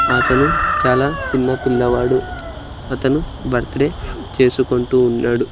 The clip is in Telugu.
అతను చాలా చిన్న పిల్లవాడు అతను బర్త్ డే చేసుకుంటూ ఉన్నాడు.